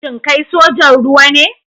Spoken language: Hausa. Shin kai sojan ruwa ne?